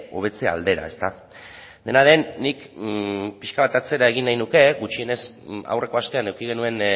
hobetze aldera dena den nik pixka bat atzera egin nahi nuke gutxienez aurreko astean eduki genuen